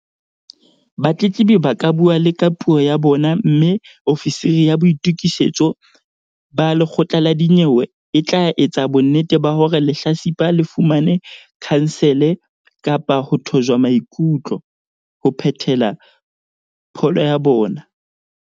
Batletlebi ba ka bua le ka puo ya bona mme ofisiri ya boitokisetso ba lekgotla la dinyewe e tla etsa bonnete ba hore lehlatsipa le fumane khansele kapa ho thojwa maikutlo, ho phethela pholo ya bona.